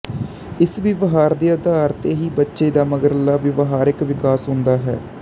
ਇਸ ਵਿਵਹਾਰ ਦੇ ਆਧਾਰ ਤੇ ਹੀ ਬੱਚੇ ਦਾ ਮਗਰਲਾ ਵਿਵਹਾਰਕ ਵਿਕਾਸ ਹੁੰਦਾ ਹੈ